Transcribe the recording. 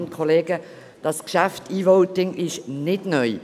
Das Geschäft E-Voting ist nicht neu.